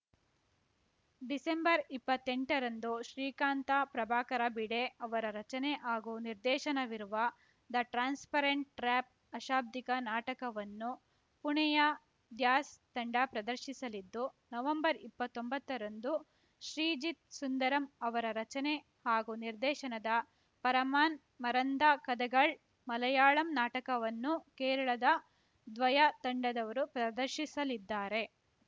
ಡಿಸೆಂಬರ್ಇಪ್ಪತ್ತೆಂಟರಂದು ಶ್ರೀಕಾಂತ ಪ್ರಭಾಕರ ಭಿಡೆ ಅವರ ರಚನೆ ಹಾಗೂ ನಿರ್ದೇಶನವಿರುವ ದ ಟ್ರಾನ್ಸ್‌ಪರೆಂಟ್‌ ಟ್ರ್ಯಾಪ್‌ ಅಶಾಭ್ದಿಕ ನಾಟಕವನ್ನು ಪುಣೆಯ ಧ್ಯಾಸ್‌ ತಂಡ ಪ್ರದರ್ಶಿಸಲಿದ್ದು ನವಂಬರ್ಇಪ್ಪತ್ತೊಂಬತ್ತರಂದು ಶ್ರೀಜಿತ್‌ ಸುಂದರಮ್‌ ಅವರ ರಚನೆ ಹಾಗೂ ನಿರ್ದೇಶನದ ಪರಮಾನ್‌ ಮರಂದ ಕದೆಗಳ್‌ ಮಲಯಾಳಂ ನಾಟಕವನ್ನು ಕೇರಳದ ದ್ವಯ ತಂಡದವರು ಪ್ರದರ್ಶಿಸಲಿದ್ದಾರೆ